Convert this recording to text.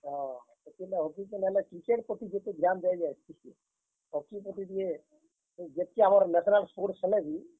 ହଁ, ହେତିର୍ ଲାଗି Hockey କେ ନାହେଲେ, Cricket ପ୍ରତି ଯେତେ ଧ୍ୟାନ ଦିଆଯାଏସି ଯେ, Hockey ପ୍ରତି ଟିକେ, ଯେତ୍ କି ଆମର୍ national sports ହେଲେବି।